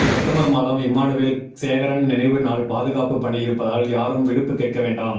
September மாதம் இம்மானுவேல் சேகரன் நினைவு நாள் பாதுகாப்பு பணி இருப்பதால் யாரும் விடுப்பு கேட்க வேண்டாம்